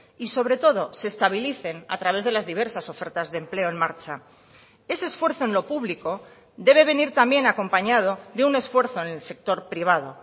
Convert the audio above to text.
y sobre todo se estabilicen a través de las diversas ofertas de empleo en marcha ese esfuerzo en lo público debe venir también acompañado de un esfuerzo en el sector privado